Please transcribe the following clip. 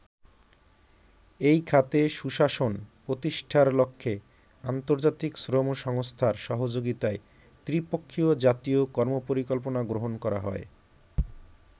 এই খাতে সুশাসন প্রতিষ্ঠার লক্ষ্যে আন্তর্জাতিক শ্রম সংস্থার সহযোগিতায় ত্রি-পক্ষীয় জাতীয় কর্মপরিকল্পনা গ্রহণ করা হয়।